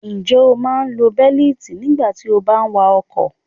Ǹjẹ́ o máa ń lo bẹ́lítì nígbà tí o bá wa ọkọ̀?